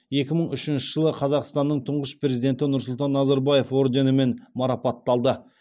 екі мың үшінші жылы қазақстанның тұңғыш президенті нұрсұлтан назарбаев орденімен марапатталды